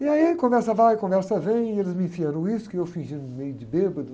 E aí a conversa vai, a conversa vem, e eles me enfiam no uísque, e eu fingindo meio de bêbado.